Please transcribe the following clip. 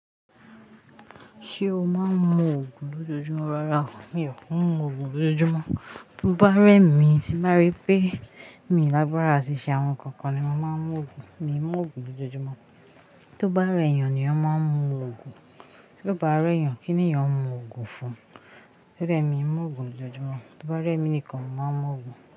Ṣé o máa ń mu Ògùn lójoojúmọ́ rárá, mi ò ki n mú Ògùn lójoojúmọ́. Tó bá rẹ̀ mí tí bá rí pé mi lágbára ṣí ṣe àwọn ǹkan kan ni màá mú Ògùn, mi i mú Ògùn lójoojúmọ́. To bá rẹ̀ èèyàn ni eeyan máa ń mu Ògùn, tí ó bá rẹ̀ èèyàn kín ni èèyàn mú Ògùn fún? Gẹ́gẹ́ mi, mi i mú Ògùn lójoojúmọ́. Tó bá rẹ̀ mi nìkan mo màá mú Ògùn.